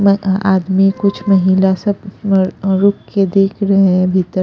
आ आदमी कुछ महिला सब अ रु रुक के देख रहे हैं भीतर--